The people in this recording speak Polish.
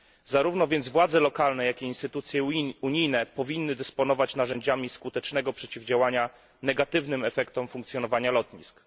Zarówno więc władze lokalne, jak i instytucje unijne powinny dysponować narzędziami skutecznego przeciwdziałania negatywnym efektom funkcjonowania lotnisk.